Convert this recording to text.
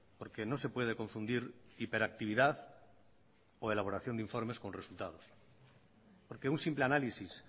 porque no se puede confundir hiperactividad o elaboración de informes con resultados porque un simple análisis